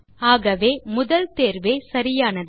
ஆகவே முதல் தேர்வே சரியானது